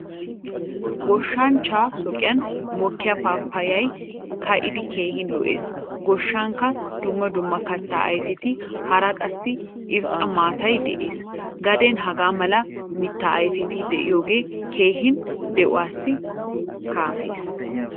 Goshshanchcha shooqqan mokkiyaa paapayay ka'idi keehin lo'ees. Goshshankka dumma dumma katta ayfetti, haraa qassi irxxa maataay de'ees. Gaden hagaa mala miitta ayfetti de'iyoge keehin de'iwaa kaafees.